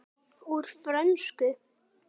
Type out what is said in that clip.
Úr frönsku